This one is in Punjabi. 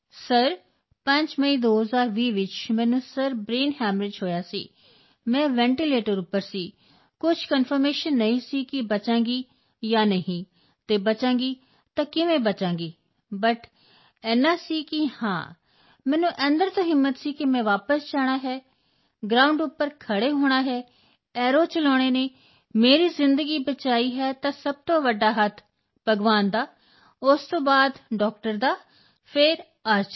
ਸਰ 5 ਮਈ 2020 ਵਿੱਚ ਮੈਨੂੰ ਸਰ ਬ੍ਰੇਨ ਹੈਮਰੇਜ ਹੋਇਆ ਸੀ ਮੈਂ ਵੈਂਟੀਲੇਟਰ ਉੱਪਰ ਸੀ ਕੁਝ ਕੰਫਰਮੇਸ਼ਨ ਨਹੀਂ ਸੀ ਕਿ ਮੈਂ ਬਚਾਂਗੀ ਜਾਂ ਨਹੀਂ ਅਤੇ ਬਚਾਂਗੀ ਤਾਂ ਕਿਵੇਂ ਬਚਾਂਗੀ ਬਟ ਏਨਾ ਸੀ ਕਿ ਹਾਂ ਮੈਨੂੰ ਅੰਦਰ ਤੋਂ ਹਿੰਮਤ ਸੀ ਕਿ ਮੈਂ ਵਾਪਸ ਜਾਣਾ ਹੈ ਗ੍ਰਾਊਂਡ ਉੱਪਰ ਖੜ੍ਹੇ ਹੋਣਾ ਹੈ ਐਰੋ ਚਲਾਉਣੇ ਹਨ ਮੇਰੀ ਜ਼ਿੰਦਗੀ ਬਚਾਈ ਹੈ ਤਾਂ ਸਭ ਤੋਂ ਵੱਡਾ ਹੱਥ ਭਗਵਾਨ ਦਾ ਉਸ ਤੋਂ ਬਾਅਦ ਡਾਕਟਰ ਦਾ ਫਿਰ ਆਰਚਰੀ ਦਾ